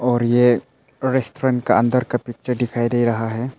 और ये रेस्टोरेंट का अंदर का पिक्चर दिखाई दे रहा है।